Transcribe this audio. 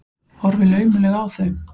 Horfi laumulega á þau.